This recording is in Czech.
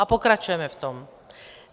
A pokračujeme v tom.